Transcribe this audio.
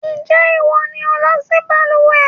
Ǹjẹ́ ìwọ ni o lọ sí balùwẹ́?